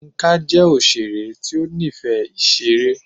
yinka jẹ oṣere ti o nifẹ iṣere